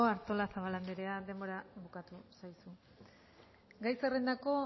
artolazabal andrea denbora bukatu zaizu gai zerrendako